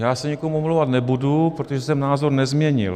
Já se nikomu omlouvat nebudu, protože jsem názor nezměnil.